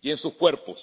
y en sus cuerpos.